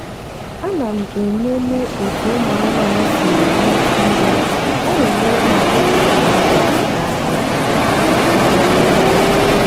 ana m enene otu ụmụ anụmanụ si eri nriọ na enyere m aka ịchọpụta ọria na aria ha aria ha n'oge.